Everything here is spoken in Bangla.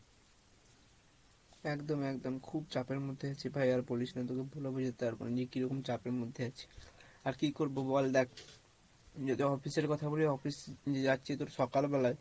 একদম একদম খুব চাপের মধ্যে আছি ভাই আর বলিস না তোকে বলেও বুঝাতে পারবো না যে কিরকম চাপের মধ্যে আছি আর কী বলবো বল দেখ যদি office এর কথা বলি office যাচ্ছি তোর সকাল বেলাই